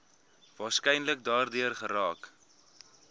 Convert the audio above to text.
waarskynlik daardeur geraak